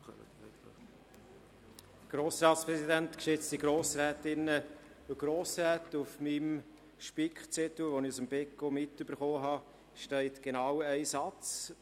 Auf meinem Spickzettel, der mir seitens des Beco Berner Wirtschaft mitgegeben wurde, steht genau ein Satz.